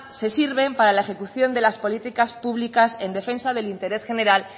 se sirven para el ejecución de las políticas públicas en defensa del interés general